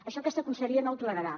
això aquesta conselleria no ho tolerarà